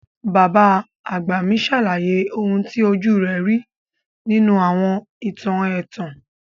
Bàbá àgbà mi sàlàyé oun ti ojú rẹ̀ ri nínú àwọn ìtàn ẹ̀tàn.